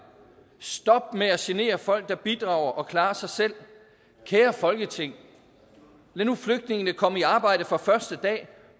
stop med at genere folk der bidrager og klarer sig selv kære folketing lad nu flygtninge komme i arbejde fra første dag